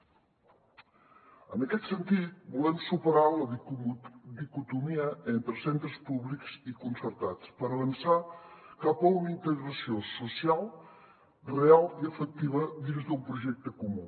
en aquest sentit volem superar la dicotomia entre centres públics i concertats per avançar cap a una integració social real i efectiva dins d’un projecte comú